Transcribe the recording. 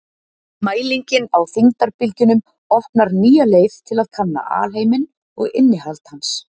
mælingin á þyngdarbylgjunum opnar nýja leið til að kanna alheiminn og innihald hans